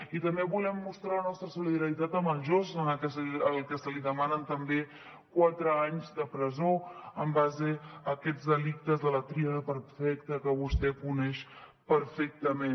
i també volem mostrar la nostra solidaritat amb el josant al que se li demanen també quatre anys de presó en base a aquests delictes de la tríada perfecta que vostè coneix perfectament